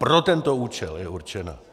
Pro tento účel je určena.